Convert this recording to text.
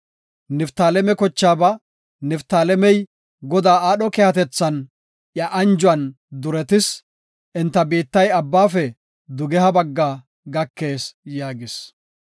Niftaaleme kochaaba, “Niftaalemey Godaa aadho keehatethan, iya anjuwan duretis; enta biittay Abbaafe dugeha bagga gakees” yaagis.